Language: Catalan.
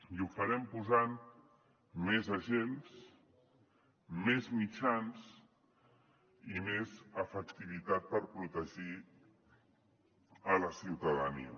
i ho farem posant més agents més mitjans i més efectivitat per protegir la ciutadania